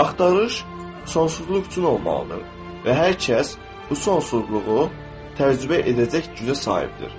Axtarış sonsuzluq üçün olmalıdır və hər kəs bu sonsuzluğu təcrübə edəcək gücə sahibdir.